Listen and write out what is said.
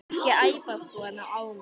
Ekki æpa svona á mig.